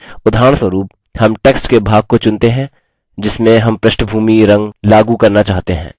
उदाहरणस्वरूप हम text के भाग को चुनते हैं जिसमें हम पृष्ठभूमी रंग background color लागू करना चाहते हैं